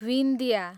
Vindhya